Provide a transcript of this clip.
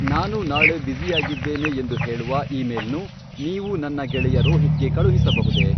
ನಾನು ನಾಳೆ ಬ್ಯುಸಿಯಾಗಿದ್ದೇನೆ ಎಂದು ಹೇಳುವ ಇಮೇಲ್ನು ನೀವು ನನ್ನ ಗೆಳೆಯ ರೋಹಿತ್ಗೆ ಕಳುಹಿಸಬಹುದೇ?